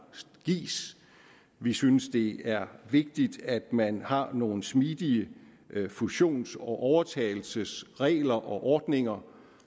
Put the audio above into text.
gives vi synes det er vigtigt at man har nogle smidige fusions og overtagelsesregler og ordninger